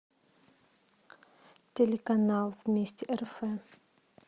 телеканал вместе рф